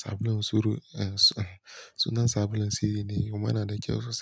sabulun soro. Sunan sabulun siri ne kuma yana da kyau sosai.